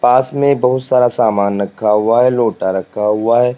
पास में बहुत सारा सामान रखा हुआ है लोटा रखा हुआ है।